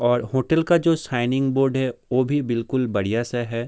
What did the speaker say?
और होटल का जो साइनिंग बोर्ड है वो भी बिलकुल बढ़िया सा है।